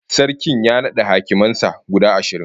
Sarkin ya nada hakiman sa guda ashirin